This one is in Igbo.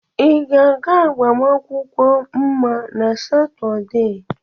Ị ga-aga agbamakwụkwọ Mma na Satọde?